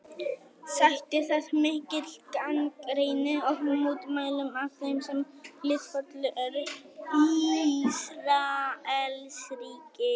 Sætti það mikilli gagnrýni og mótmælum af þeim sem hliðhollir eru Ísraelsríki.